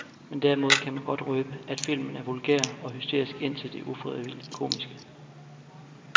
Men derimod kan man godt røbe, at filmen er vulgær og hysterisk indtil det ufrivilligt komiske.